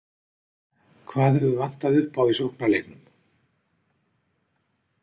Hvað hefur vantað upp á í sóknarleiknum?